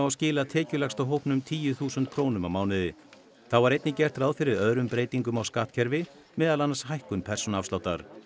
skila tekjulægsta hópnum tíu þúsund krónum á mánuði þá var einnig gert ráð fyrir öðrum breytingum á skattkerfi meðal annars hækkun persónuafsláttar